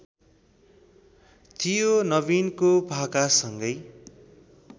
थियो नबिनको भाकासँगै